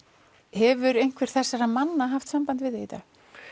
hefur einhver þessara manna haft samband við þig í dag